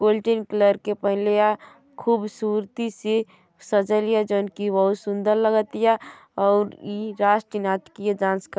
colour के पहिनेले अ खुबसुरती से सजल हिया जाऊन की बहुत ही सुँदर लगतिया अऊर ई राष्ट्रीय नाटकीय डांस करत --